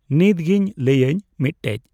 ᱱᱤᱛᱜᱤᱧ ᱞᱟᱹᱭᱟᱹᱧ ᱢᱤᱫᱴᱮᱡ᱾